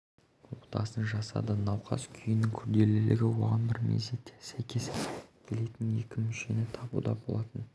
отасын жасады науқас күйінің күрделілігі оған бір мезетте сәйкес келетін екі мүшені табуда болатын өзге